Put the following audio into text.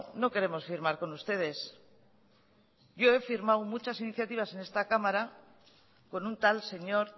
no queremos firmar con ustedes yo he firmado muchas iniciativas en esta cámara con un tal señor